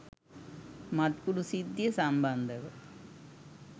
මත්කුඩු සිද්ධිය සම්බන්ධව